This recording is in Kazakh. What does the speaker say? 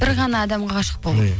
бір ғана адамға ғашық болу иә